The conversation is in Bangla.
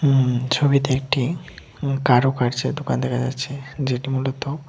হুম ছবিতে একটি কারুকার্যের দোকান দেখা যাচ্ছে যেটি মূলত--